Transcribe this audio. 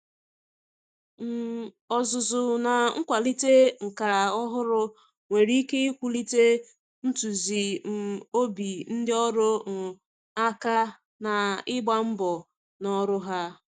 um Ọzụzụ na nkwalite nka ọhụrụ nwere ike iwulite ntụkwasị um obi ndị ọrụ um aka ná ịgba mbọ ná ọrụ ha.